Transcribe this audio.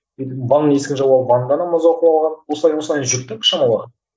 енді ванна есігін жауып алып ваннада намаз оқып алған осылай осылай жүрдік шамалы